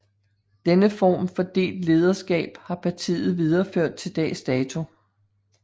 Denne form for delt lederskab har partiet videreført til dags dato